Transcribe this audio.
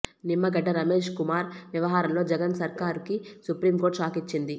నిమ్మగడ్డ రమేశ్ కుమార్ వ్యవహారంలో జగన్ సర్కార్కి supreme court shock ఇచ్చింది